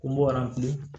Ko n bɔr'a kun